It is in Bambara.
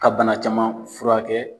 Ka bana caman furakɛ.